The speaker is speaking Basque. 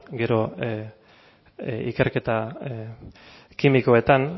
gero ikerketa kimikoetan